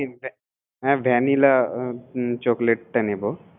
হ্যা ভ্যা! ভ্যানিলঅ চকলেটটা নিবো